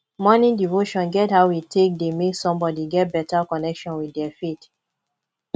morning devotion get how e take dey make somebody get better connection with their faith